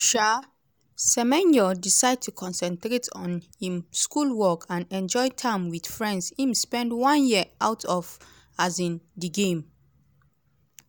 um semenyo decide to concentrate on im schoolwork and enjoy time wit friends im spend one year out of um di game.